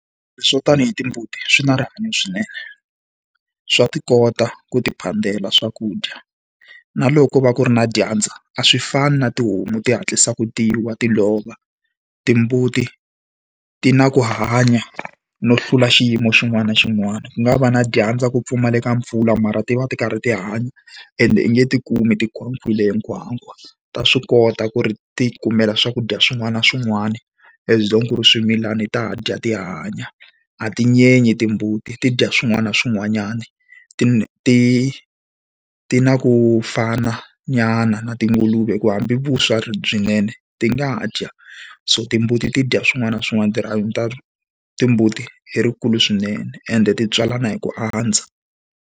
Swo tanihi timbuti swi na rihanyo swinene, swa ti kota ku ti phandela swakudya. Na loko va ku ri na dyandza a swi fani na tihomu ti hatlisaka ti wa ti lova, timbuti ti na ku hanya no hlula xiyimo xin'wana na xin'wana. Ku nga va na dyandza ku pfumaleka mpfula mara ti va ti karhi ti hanya ende i nge ti kumi ti khomiwile hi nkhwankhwa. Ta swi kota ku ri ti kumela swakudya swin'wana na swin'wana, as long ku ri swimilana ta dya ti hanya, a ti nyenyi timbuti ti dya swin'wana na swin'wanyana. Ti ti ti na ku fananyana na tinguluve hi ku hambi vuswa byinene ti nga dya. So timbuti ti dya swin'wana na swin'wana timbuti i ri kulu swinene ende ti tswalana hi ku andza.